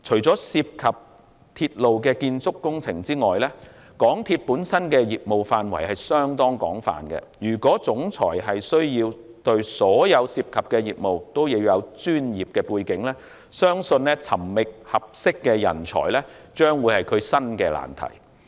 港鐵公司本身的業務範圍相當廣泛，如果行政總裁需要對所有涉及的業務也有專業的背景，相信尋覓合適的人才將會是新的難題。